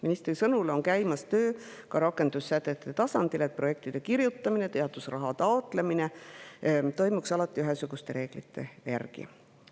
Ministri sõnul käib töö ka rakendussätete tasandil, et projektide kirjutamine ja teadusraha taotlemine toimuks alati ühesuguste reeglite järgi.